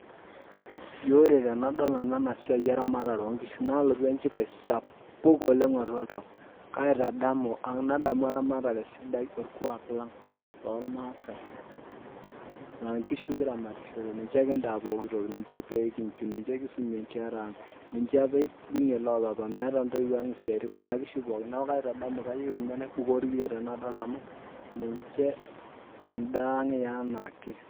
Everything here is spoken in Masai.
Ji ore tenadol nanu ena siaai eramatare oonkishu naalotu enchipai sapuk oleng atua oltau kaaitadamu ang nadamu eramatare sidai orkuak lang oormaasai laankishu kiramatishore ninche kintaa pooki toki ninche peenkichu ninche kisumie inkera aang ninche apa eibung'ie loo papa meeta intoiwuo ang isiatin kuna kishu pookin, neeku kaaitadamu kayieu ninche naibukoo irkiyio tenadol amu ninche endaa aang eenaake .